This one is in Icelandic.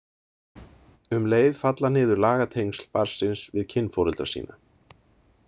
Um leið falla niður lagatengsl barnsins við kynforeldra sína.